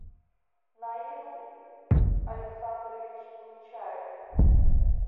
наил александрович нечаев